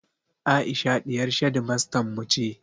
Aisha ɗiyar shedimastan mu ce